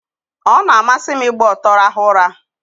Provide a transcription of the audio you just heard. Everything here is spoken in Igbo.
Ọ na-amasị m ịgba ọtọ rahụ ụra.